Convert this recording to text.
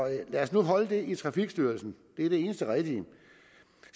lad os nu holde det i trafikstyrelsen det er det eneste rigtige